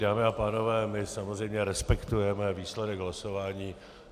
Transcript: Dámy a pánové, my samozřejmě respektujeme výsledek hlasování.